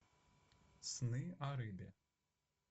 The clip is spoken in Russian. сны о рыбе